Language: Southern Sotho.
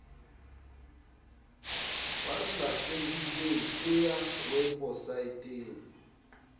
ba lahlehileng e ya weposaeteng